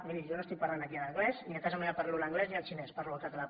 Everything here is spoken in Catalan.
miri jo no estic parlant aquí en anglès ni a casa meva parlo l’anglès ni el xinès parlo el català